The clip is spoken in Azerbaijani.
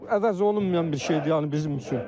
O əvəzolunmayan bir şeydir, yəni bizim üçün.